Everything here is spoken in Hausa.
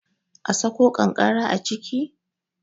a Sako kankara a ciki?